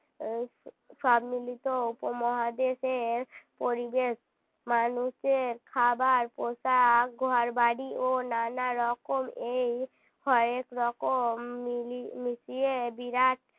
উম সব মিলিত উপমহাদেশের পরিবেশ মানুষের খাবার পোশাক ঘরবাড়ি ও নানারকম এই কয়েক রকম মিলিয়ে মিটিয়ে বিরাট